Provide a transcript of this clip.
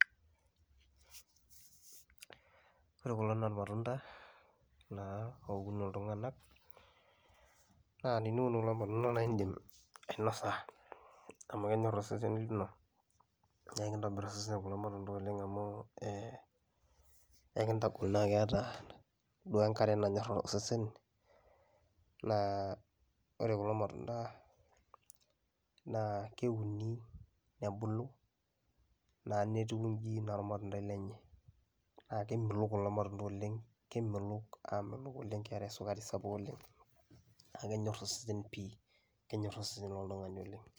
Orekulo naa irmatunda naa oun iltung'anak naa teniun kulo matunda naa iindim ainosa amu kenyor osesen lino. Nekintobir osesen kulo matunda oleng' amu ee ekintagol naake eeta duo enkare nanyor osesen naa ore kulo matunda naa keuni nebulu naa netiu nji naa ormatundai lenye. Naa kemelok kulo matunda oleng' kemelok aamelok oleng' keeta esukari sapuk oleng' naa kenyor osesen pii kenyor osesen loltung'ani oleng'.